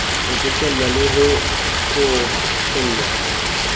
ho bokellwa le ho hlophollwa